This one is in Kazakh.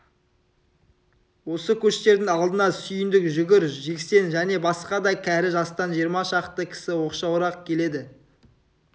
осы көштердің алдына сүйіндік сүгір жексен және басқа да кәрі жастан жиырма шақты кісі оқшауырақ келеді